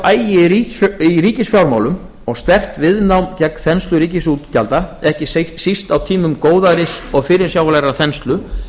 agi í ríkisfjármálum og sterkt viðnám gegn þenslu ríkisútgjalda ekki síst á tímum góðæris og fyrirsjáanlegrar þenslu